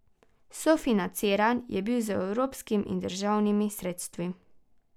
Sofinanciran je bil z evropskim in državnimi sredstvi.